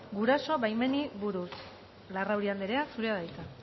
guraso baimenei buruz larrauri andrea zurea da hitza